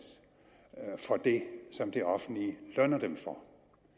for det som det offentlige lønner dem for